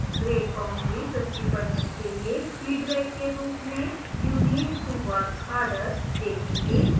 grade boundary 50% के लिए feedback के रूप में you need to work harder देखेंगे